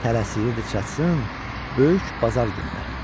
Tələsirdi çatsın böyük bazar gününə.